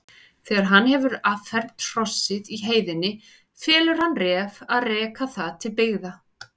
Þegar hann hefur affermt hrossið í heiðinni felur hann Ref að reka það til byggða.